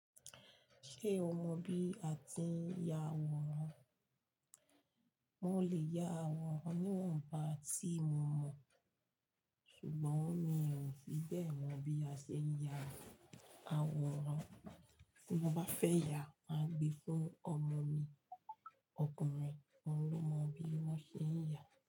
Ṣé o mọ bí a ti ń ya àwòrán? Mo le ya àwòrán ní wọ́n bà tí mo mọ̀, ṣùgbọ́n mi o fí ẹ́ bẹ́ẹ̀ mọ bí a ṣe ń ya àwòrán. Tí mo bá fẹ́ ya, màá gbe fún ọmọ mi ọkùnrin, ohun ló mọ bí wọ́n ṣe ń yà.